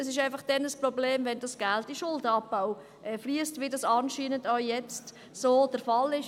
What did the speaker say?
Es ist einfach dann ein Problem, wenn das Geld in den Schuldenabbau fliesst, so wie das jetzt anscheinend auch der Fall ist.